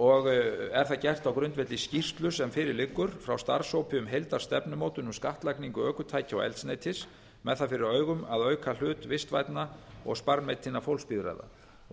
og er það gert á grundvelli skýrslu sem fyrir liggur frá starfshópi um heildarstefnumótun um skattlagningu ökutækja og eldsneytis með það fyrir augum að auka hlut vistvænna og sparneytinna fólksbifreiða